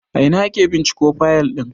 A ina ake binciko fayal din?